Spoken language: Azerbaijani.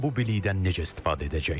İran bu bilikdən necə istifadə edəcək?